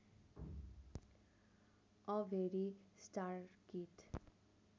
a very star kid